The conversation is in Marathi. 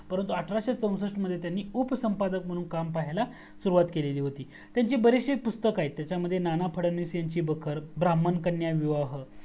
परंतु अठराशे चौसस्ट मध्ये त्यांनी उपसंपादक म्हणून काम पाहायाला सुरुवात केलेली होती त्यांची बरेचशी पुस्तकं आहेत त्यामध्ये नाना फडणवीस यांची बखर ब्राहमान कन्या विवाह